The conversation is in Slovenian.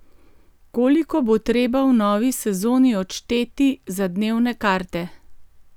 Koliko bo treba v novi sezoni odšteti za dnevne karte?